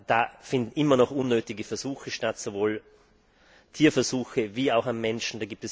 Da finden immer noch unnötige Versuche statt, sowohl Tierversuche sowie Versuche an Menschen.